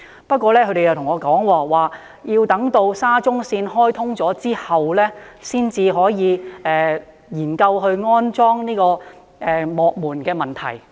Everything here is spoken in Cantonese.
不過，他們告訴我，要待沙中線開通後，才能夠研究安裝幕門的問題。